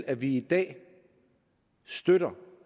at vi i dag støtter